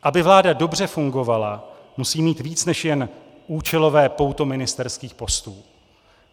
Aby vláda dobře fungovala, musí mít víc než jen účelové pouto ministerských postů.